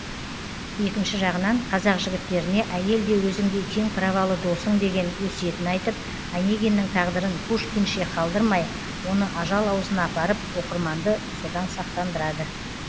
екінші жағынан қазақ жігіттеріне әйел де өзіңдей тең праволы досың деген өсиетін айтып онегиннің тағдырын пушкинше қалдырмай оны ажал аузына апарып оқырманды содан сақтандырады